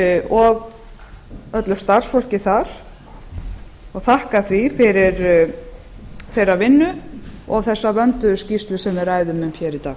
og þakka öllu starfsfólki þar fyrir þeirra vinnu og þessa vönduðu skýrslu sem við ræðum um í dag